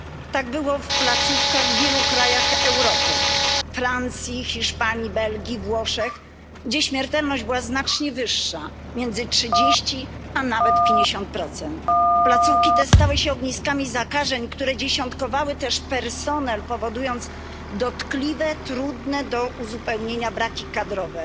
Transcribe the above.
Tak było w placówkach w wielu krajach Europy Francji, Hiszpanii, Belgii, Włoszech, gdzie śmiertelność była znacznie wyższa, między 30, a nawet 50. Placówki te stały się ogniskami zakażeń, które dziesiątkowały też personel, powodując dotkliwe, trudne do uzupełnienia braki kadrowe.